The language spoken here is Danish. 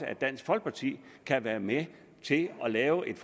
at dansk folkeparti kan være med til at lave et